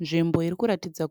Nzvimbo irikuratidza